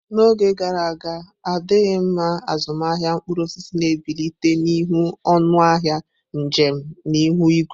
N'oge gara aga, adịghị mma azụmahịa mkpụrụ osisi na-ebilite n'ihi ọnụ ahịa njem na ihu igwe.